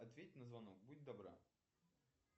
ответь на звонок будь добра